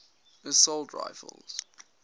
assault rifles